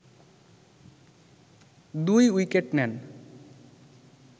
২ wicket নেন